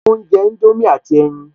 Ṣe ò ń jẹ indomie àti ẹyin?